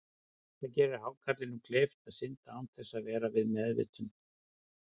Það gerir hákarlinum kleift að synda án þess að vera við meðvitund.